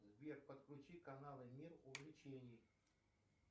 сбер подключи канал мир увлечений